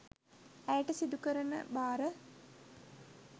ඇයට සිදුකරන භාර